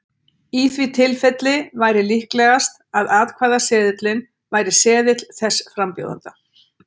í því tilfelli væri líklegast að atkvæðaseðilinn væri seðill þess frambjóðanda